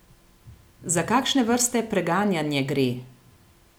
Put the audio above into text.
Za kakšne vrste preganjanje gre?